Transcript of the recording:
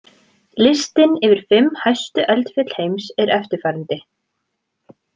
Listinn yfir fimm hæstu eldfjöll heims er eftirfarandi: